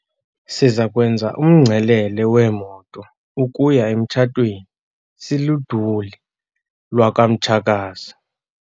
Siza kwenza umngcelele weemoto ukuya emtshatweni siluduli lwakwamtshakazi.